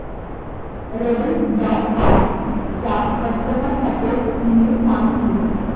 Rediff dot com चा customer support email सांग please